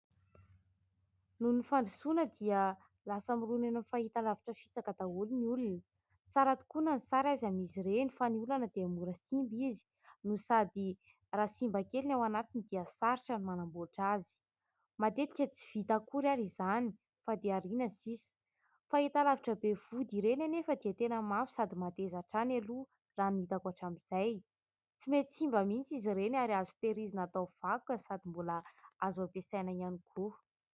Noho ny fandrosoana dia lasa mirona eny amin'ny fahitalavitra fisaka daholo ny olona. Tsara tokoa na ny sary aza amin'izy ireny, fa ny olana dia mora simba izy no sady raha simba kely ny ao anatiny dia sarotra ny manamboatra azy. Matetika tsy vita akory ary izany fa dia ariana sisa. Fahitalavitra be vody ireny anefa dia tena mafy sady mateza hatrany aloha raha ny hitako hatramin'izay. Tsy mety simba mihitsy izy ireny ary azo tehirizina atao vakoka sady mbola azo ampiasaina ihany koa.